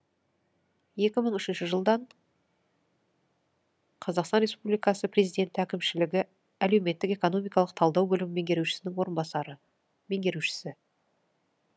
екі мың үшінші жылдан қазақстан республикасы президенті әкімшілігі әлеуметтік экономикалық талдау бөлімі меңгерушісінің орынбасары меңгерушісі